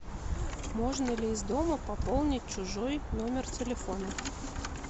можно ли из дома пополнить чужой номер телефона